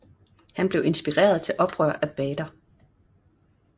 Han blev inspireret til oprør af Bader